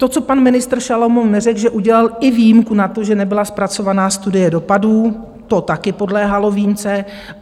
To, co pan ministr Šalomoun neřekl, že udělal i výjimku na to, že nebyla zpracována studie dopadů, to také podléhalo výjimce.